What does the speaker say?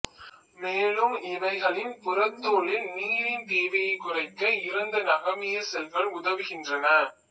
மேலும் இவைகளின் புறத்தோலில் நீரின் தேவையைக் குறைக்க இறந்த நகமிய செல்கள் உதவுகின்றன